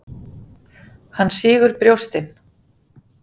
Hann sýgur brjóstin.